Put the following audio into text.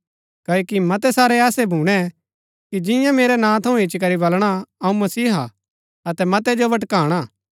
क्ओकि मतै सारै ऐसै भूणै कि जिंआ मेरै नां थऊँ इच्ची करी बलणा अऊँ मसीहा हा अतै मतै जो भटकाणा